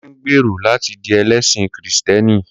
Kunle ń gbèrò láti di ẹlẹ́sìn Kristẹni.